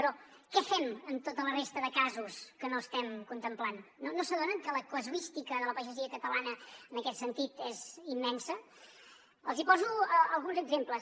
però què fem amb tota la resta de casos que no estem contemplant no s’adonen que la casuística de la pagesia catalana en aquest sentit és immensa els hi poso alguns exemples